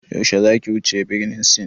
Yaushe zaki wuce birnin Sin?